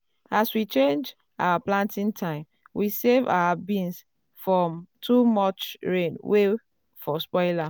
as we change our planting time we save our beans from too much rain wey for spoil am.